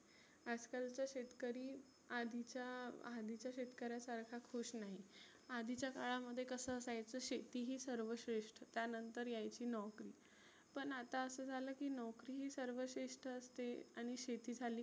आज कालचा शेतकरी आधीच्या आधीच्या शेतकऱ्यासारखा खुश नाही. आधिच्या काळामध्ये कसं असायचं शेती ही सर्वश्रेष्ठ त्यानंतर यायची नोकरी. पण आता असं झालं की नोकरी ही सर्वश्रेष्ठ असते आणि शेती झाली